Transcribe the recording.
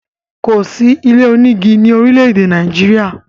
Kò sí ilé onígi ni orile-ede Nàìjíríà.